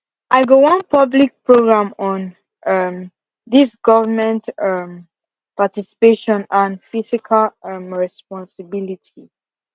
i go wan public program on um this government um participation and fiscal um responsibility